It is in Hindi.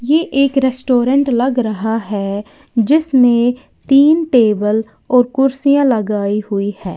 ये एक रेस्टोरेंट लग रहा है जिसमें तीन टेबल और कुर्सियां लगाई हुई है।